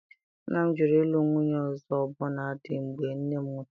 Nna m jụrụ ịlụ nwunye ọzọ ọbụna dị mgbe nne m nwụchara